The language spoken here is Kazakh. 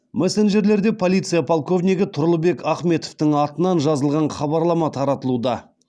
мессенджерлерде полиция полковнигі тұрлыбек ахметовтің атынан жазылған хабарлама таратылуда